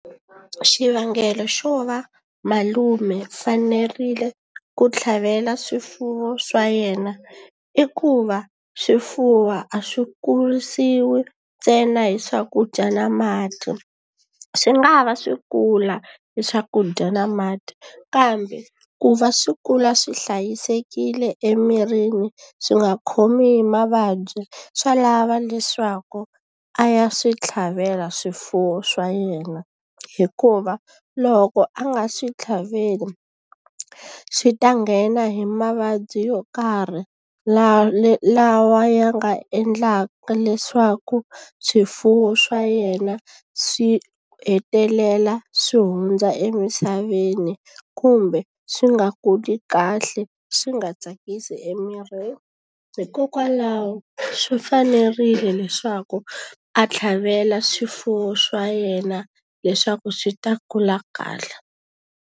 Xivangelo xo va malume fanerile ku tlhavela swifuwo swa yena i ku va, swifuwo a swi kurisiwi hi ntsena hi swakudya na mati. Swi nga ha va swi kula hi swakudya na mati kambe, ku va swi kula swi hlayisekile emirini swi nga khomi hi mavabyi swa lava leswaku a ya swi tlhavela swifuwo swa yena. Hikuva loko a nga swi tlhaveli swi ta nghena hi mavabyi yo karhi, lawa ya nga endlaka leswaku swifuwo swa yena swi ku hetelela swi hundza emisaveni kumbe swi nga kuli kahle, swi nga tsakisi emirini. Hikokwalaho swi fanerile leswaku a tlhavela swifuwo swa yena leswaku swi ta kula kahle.